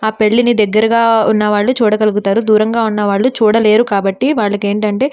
ఆ పెళ్లిని దగ్గరగా ఉన్న వాళ్ళు చూడగలుగుతారు. దూరంగా ఉన్న వాళ్ళు చూడలేరు కాబట్టి వాళ్లకి ఏంటంటే --